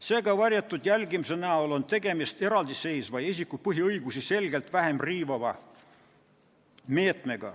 Seega, varjatud jälgimine on eraldiseisev ja isiku põhiõigusi selgelt vähem riivav meede.